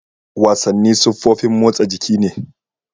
Wasanni siffofin motsan jiki ne.